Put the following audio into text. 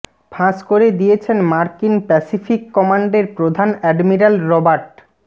ফাঁস করে দিয়েছেন মার্কিন প্যাসিফিক কমান্ডের প্রধান অ্যাডমিরাল রবার্ট